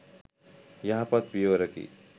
යහපත් පියවරකි.